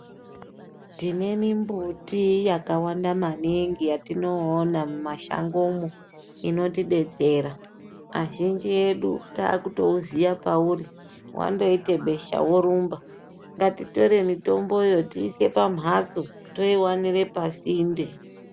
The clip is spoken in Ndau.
Tine mimbuti yakawanda maningi yatinoona mumashangomwo inotidetsera. Azhinji edu takutouziye pauri. Wandoite besha worumba. Ngatitore mitomboyo tiise pamhatso toiwanire pasinde.